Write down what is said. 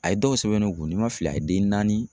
A ye dɔw sɛbɛn ne kun ni n ma fila a ye den naani